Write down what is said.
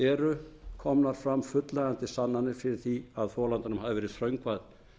eru komnar fram fullnægjandi sannanir fyrir því að þolandanum hafi verið þröngvað